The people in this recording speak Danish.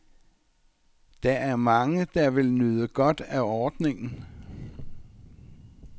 Der er mange, der vil kunne nyde godt af ordningen.